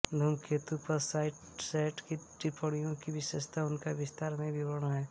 धूमकेतु पर साइसैट की टिप्पणियों की विशेषता उनका विस्तार में विवरण है